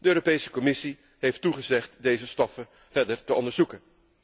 De Europese Commissie heeft toegezegd deze stoffen verder te onderzoeken.